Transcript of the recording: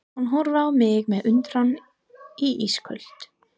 Hún horfir á mig með undrun í ísköld